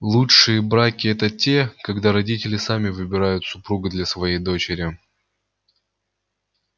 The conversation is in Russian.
лучшие браки это те когда родители сами выбирают супруга для своей дочери